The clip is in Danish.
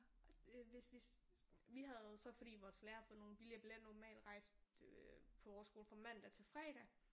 Hvis hvis vi havde så fordi vores lærer havde fået nogle billigere billetter normalt rejste øh på vores skole fra mandag til fredag